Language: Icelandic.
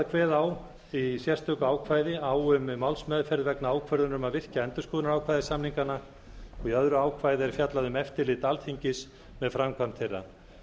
kveða í sérstöku ákvæði á um málsmeðferð vegna ákvörðunar um að virkja endurskoðunarákvæði samninganna og í öðru ákvæði er fjallað um eftirlit alþingis með framkvæmd þeirra